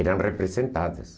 Eram representadas.